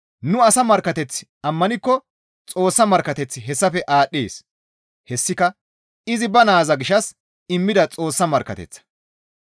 Nu asa markkateth ammanikko Xoossa markkateththi hessafe aadhdhees; hessika izi ba naaza gishshas immida Xoossa markkateththa.